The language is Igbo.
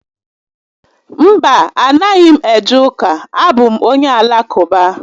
Mba, a naghị m eje ụka, a bụ m onye Alakụba